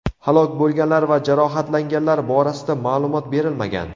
Halok bo‘lganlar va jarohatlanganlar borasida ma’lumot berilmagan.